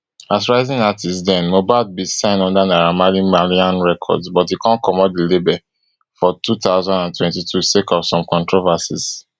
as rising artiste den mohbad bin sign under naira marley marlian records but e comot di label for two thousand and twenty-two sake of some controversies